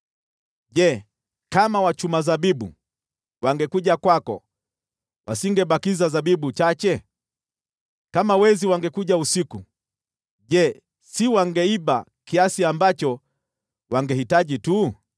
Je, kama wachuma zabibu wangekuja kwako, wasingebakiza zabibu chache? Kama wezi wangekujia usiku, je, si wangeiba tu kiasi ambacho wangehitaji?